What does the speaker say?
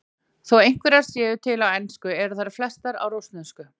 Þó einhverjar séu til á ensku eru þær flestar á rússnesku.